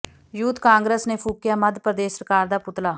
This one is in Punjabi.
ਯੂਥ ਕਾਂਗਰਸ ਨੇ ਫੂਕਿਆ ਮੱਧ ਪ੍ਰਦੇਸ਼ ਸਰਕਾਰ ਦਾ ਪੁਤਲਾ